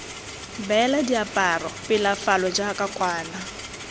beela diaparo pelafalo jaaka kwana